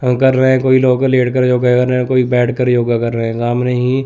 हम कर रहे कोई लोग लेट कर योगा कर रहे कोई बैठ कर योगा कर रहे हैं सामने ही --